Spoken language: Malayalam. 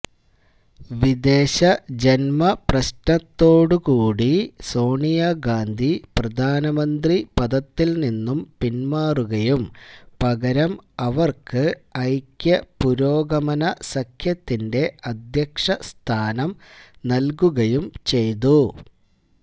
വിദേശ ജന്മപ്രശ്നത്തോടുകൂടി സോണിയാഗാന്ധി പ്രധാനമന്ത്രി പദത്തിൽ നിന്നും പിന്മാറുകയും പകരം അവർക്ക് ഐക്യപുരോഗമന സഖ്യത്തിന്റെ അദ്ധ്യക്ഷസ്ഥാനം നൽകുകയും ചെയ്തു